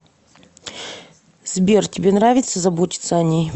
сбер тебе нравится заботится о ней